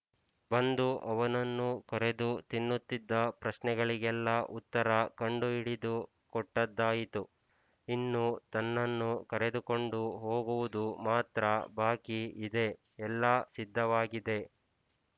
ಬಂದು ಅವನನ್ನು ಕೊರೆದು ತಿನ್ನುತ್ತಿದ್ದ ಪ್ರಶ್ನೆಗಳಿಗೆಲ್ಲ ಉತ್ತರ ಕಂಡುಹಿಡಿದು ಕೊಟ್ಟದ್ದಾಯಿತು ಇನ್ನು ತನ್ನನ್ನು ಕರೆದುಕೊಂಡು ಹೋಗುವುದು ಮಾತ್ರ ಬಾಕಿ ಇದೆ ಎಲ್ಲ ಸಿದ್ಧವಾಗಿದೆ